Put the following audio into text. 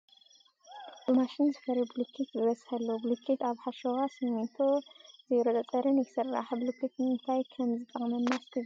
ብማሽን ዝፈሪ ቡልኬት ብበዝሒ ኣሎ ። ቡሉኬት ካብ ሓሸዋ፣ ስሚንቶ ፣ ዜሮ ፀፀርን ይስራሕ ። ቡልኬት ንምታይ ከምዝጠቅመና እስኪ ግለፁ ?